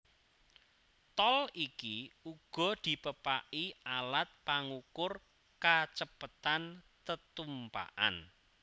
Tol iki uga dipepaki alat pangukur kacepetan tetumpakan